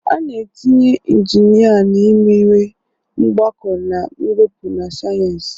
A na-etinye injinia na imewe, mgbakọ na mwepụ na sayensị.